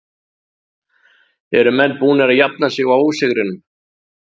Eru menn búnir að jafna sig á ósigrinum?